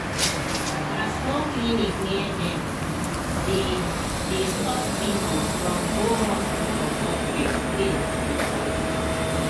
as no clinic near dem dey dey stop people from go hospital for strict place you sabi